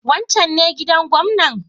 Wancan ne gidan gwamnan?